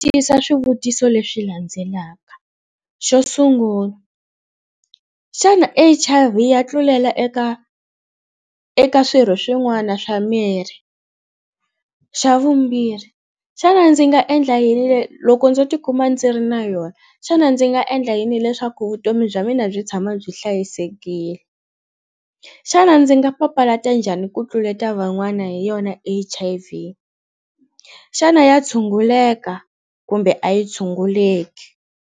Tiyisa swivutiso leswi landzelaka, xo sungula xana H_I_V ya tlulela eka eka swirho swin'wana swa miri, xa vumbirhi xana ndzi nga endla yini loko ndzo tikuma ndzi ri na yona xana ndzi nga endla yini leswaku vutomi bya mina byi tshama byi hlayisekile xana ndzi nga papalata njhani ku tluleta van'wana hi yona H_I_V xana ya tshunguleka kumbe a yi tshunguleki.